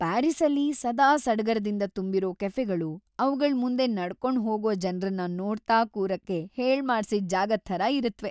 ಪ್ಯಾರಿಸ್ಸಲ್ಲಿ ಸದಾ ಸಡಗರದಿಂದ ತುಂಬಿರೋ ಕೆಫೆಗಳು ಅವ್ಗಳ್‌ ಮುಂದೆ ನಡ್ಕೊಂಡ್ ಹೋಗೋ ಜನ್ರನ್ನ ನೋಡ್ತಾ ಕೂರಕ್ಕೆ ಹೇಳ್ಮಾಡ್ಸಿದ್‌ ಜಾಗದ್‌ ಥರ ಇರತ್ವೆ.